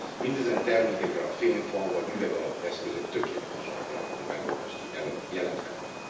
Mindezen termékekre a fém fa vagy üvegalapú eszközök tökéletes alternatív megoldást jelenthetnek.